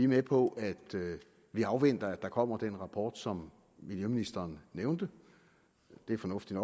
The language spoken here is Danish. med på at afvente at der kommer den rapport som miljøministeren nævnte det er fornuftigt